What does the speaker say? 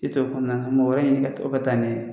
kɔnɔna mɔgɔ wɛrɛ ɲini o ka taa n'i ye